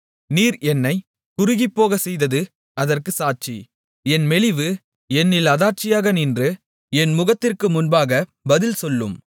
நீர் என்னைச் குறுகிப்போகச் செய்தது அதற்குச் சாட்சி என் மெலிவு என்னில் அத்தாட்சியாக நின்று என் முகத்திற்கு முன்பாக பதில் சொல்லும்